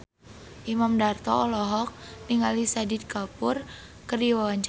Imam Darto olohok ningali Shahid Kapoor keur diwawancara